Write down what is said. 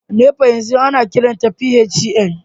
NEPA yanzu ana kiranta PHCN